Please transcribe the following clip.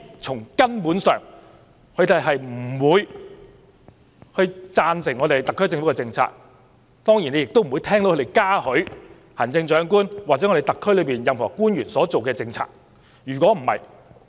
從根本上，他們當然不會贊同特區政府的政策，也不會嘉許行政長官或特區內任何官員所制訂的政策。